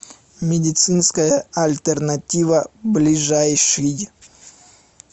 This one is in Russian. медицинская альтернатива ближайший